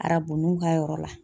Arabunu ka yɔrɔ la.